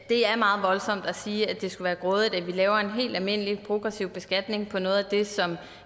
det er meget voldsomt at sige at det skulle være grådigt at vi laver en helt almindelig progressiv beskatning af noget af det som